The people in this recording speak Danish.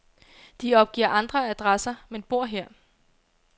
De opgiver andre adresser, men bor her.